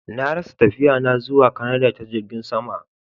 Na rasa tafiya na zuwa kanada ta jirgin sama.